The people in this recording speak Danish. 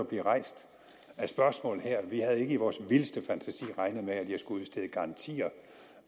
blive rejst af spørgsmål her vi havde ikke i vores vildeste fantasi regnet med at jeg skulle udstede garantier